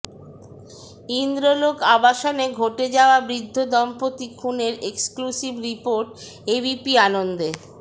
ইন্দ্রলোক আবাসনে ঘটে যাওয়া বৃদ্ধ দম্পতি খুনের এক্সক্লুসিভ রিপোর্ট এবিপি আনন্দে